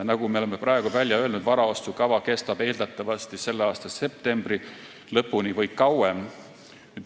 Nagu me oleme praegu välja öelnud, varaostukava kestab eeldatavasti selle aasta septembri lõpuni või kauem.